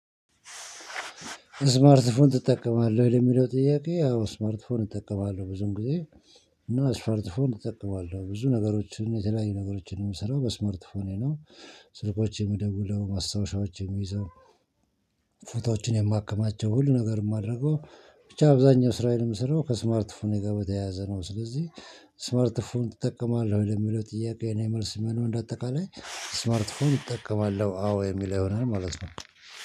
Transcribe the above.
ስማርትፎን ትጠቀማለህ ለሚለው ጥያቄ ያው ስማርትፎን እጠቀማለሁ ብዙም ጊዜ። እና ስማርትፎን እጠቀማለሁ ብዙ ነገሮችን የተለያዩ ነገሮችን የምሰራው በስማርትፎኔ ነው። ስልኮች የምደውለው ማስታወሻዎች የምይዘው ፎቶዎችን የማከማቸው ሁሉ ነገር የማደርገው። ብቻ አብዛኛው ስራዬን ምስራው ከስማርት ፎኔጋ በተያያዘ ነው። ስለዚህ ስማርት ፎን ትጠቀማለህ ወደሚለው ጥያቄ የኔ መልስ ምንድነው? በአጠቃላይ ስማርትፎን እጠቀማለሁ አዎ የሚል ይሆናል ማለት ነው